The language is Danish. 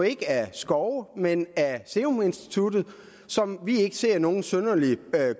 ikke af skove men af seruminstituttet som vi ikke ser nogen synderlig